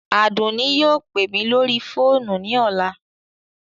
Adunni yóò pe mi lori foonu ni ọla